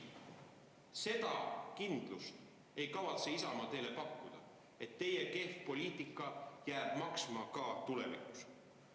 Seda kindlust, et teie kehv poliitika jääb maksma ka tulevikus, ei kavatse Isamaa teile pakkuda.